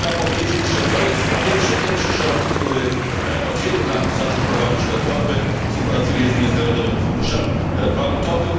Otóż, trzeba powiedzieć, że to jest, po pierwsze, pierwszy rząd, który od wielu lat zaczął prowadzić reformy, współpracuje z Międzynarodowym Funduszem Walutowym.